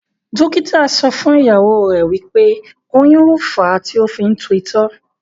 dókítà so fún ìyàwó rẹ, wípé oyún lo fa tí o fi ń tú itọ́.